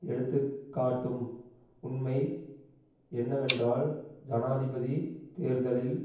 எடுத்து காட்டும் உண்மை என்னவென்றால் ஜனாதிபதி தேர்தலில்